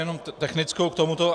Jenom technickou k tomu.